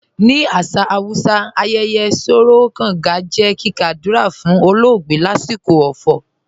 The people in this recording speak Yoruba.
Ni asà Hausà, àyẹyẹ̀ "Sòró Gàngà" jẹ́ kíkà àdúrà fun ọ̀lọ̀ọgbẹ̀ lasikọ ọ̀fọ̀.